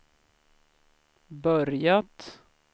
börjat